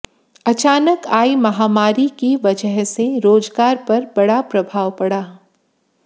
अचानक आई महामारी की वजह से रोजगार पर बड़ा प्रभाव पड़ा